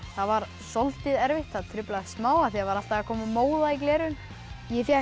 það var soldið erfitt það truflaði smá af því það var alltaf að koma móða í gleraugun ég fékk